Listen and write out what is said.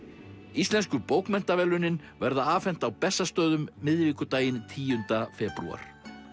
íslensku bókmenntaverðlaunin verða afhent á Bessastöðum miðvikudaginn tíunda febrúar